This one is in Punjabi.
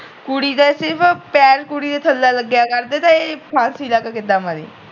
ਕੁੜੀ ਦੇ ਸਿਰਫ ਪੈਰ ਕੁੜੀ ਦੇ ਥੱਲੇ ਲਗਿਆ ਕਰਦੇ ਕੀ ਇਹ ਫਾਂਸੀ ਲੈ ਕ ਕਿਦਾਂ ਮਰੀ